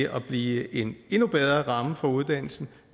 at blive en endnu bedre ramme for uddannelsen